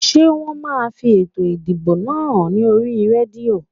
Ṣé wọn máa fi ètò ìdìbò náà hàn ní oríi rédíò?